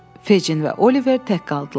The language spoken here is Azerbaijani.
Fecin və Oliver tək qaldılar.